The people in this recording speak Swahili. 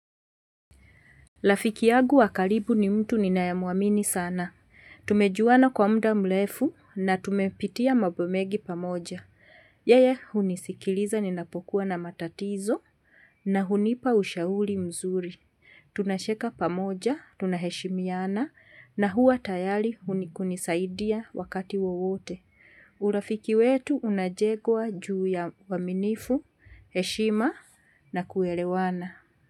Rafiki yangu wa karibu ni mtu ninaye mwamini sana. Tumejuana kwa muda mrefu na tumepitia mambomengi pamoja. Yeye hunisikiliza ninapokuwa na matatizo na hunipa ushauri mzuri. Tunacheka pamoja, tunaheshimiana na hua tayari kunikunisaidia wakati wowote. Urafiki wetu unajegwa juu ya uaminifu, heshima na kuelewana.